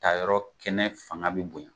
A yɔrɔ kɛnɛ fanga bɛ bonya.